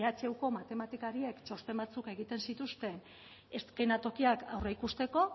ehuko matematikariek txosten batzuk egiten zituzten eskenatokiak aurreikusteko